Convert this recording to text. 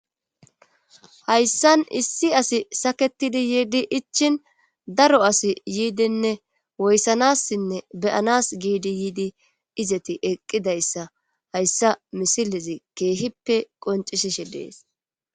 hayssan issi asi saketidi yiidi ichin daro asi yiidenne woyssanassinne beyanas giidi yiidi izeti eqqidayssa hayssa misilezi keehippe qoncisishe dees